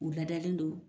U ladalen don